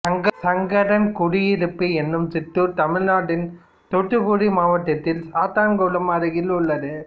சங்கரன்குடியிருப்பு என்னும் சிற்றூர் தமிழ்நாட்டின் தூத்துக்குடி மாவட்டத்தில் சாத்தன்குளம் அருகில் உள்ளது